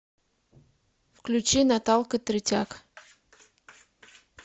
включи наталка третяк